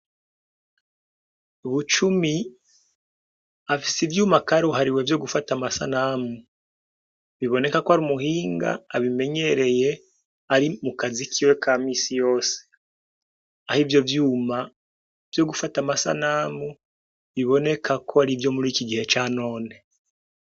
Bucumi afise ivyuma karuhariwe vyo gufata amasanamu; biboneka ko ar'umuhinga abimenyereye ari mu kazi kiwe ka misi yose, aho ivyo vyuma vyo gufata amasanamu biboneka ko arivyo muriki gihe ca none.